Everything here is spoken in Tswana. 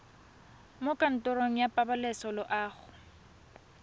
mo kantorong ya pabalesego loago